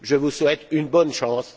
Je vous souhaite bonne chance